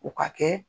U ka kɛ